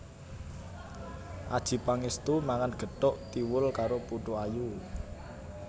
Adjie Pangestu mangan gethuk tiwul karo putu ayu